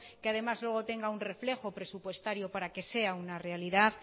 que además luego tenga un reflejo presupuestario para que sea una realidad